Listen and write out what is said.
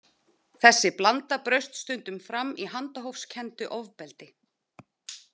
Þessi blanda braust stundum fram í handahófskenndu ofbeldi.